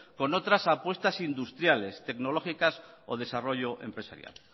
con otras apuestas industriales tecnológicas o desarrollo empresarial